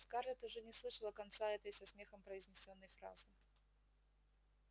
скарлетт уже не слышала конца этой со смехом произнесённой фразы